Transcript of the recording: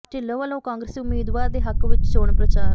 ਢਿੱਲੋਂ ਵੱਲੋਂ ਕਾਂਗਰਸੀ ਉਮੀਦਵਾਰ ਦੇ ਹੱਕ ਵਿਚ ਚੋਣ ਪ੍ਰਚਾਰ